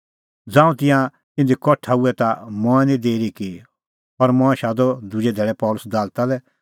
ता ज़ांऊं तिंयां इधी कठा हुऐ ता मंऐं निं देरी की और मंऐं शादअ दुजै धैल़ै पल़सी दालता लै